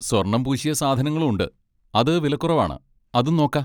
സ്വർണ്ണം പൂശിയ സാധനങ്ങളും ഉണ്ട്, അത് വിലക്കുറവാണ്, അതും നോക്കാ.